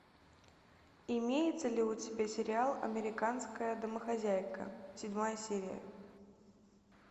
имеется ли у тебя сериал американская домохозяйка седьмая серия